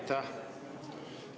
Aitäh!